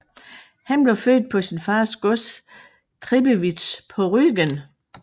Han blev født på sin fars gods Tribbewitz på Rügen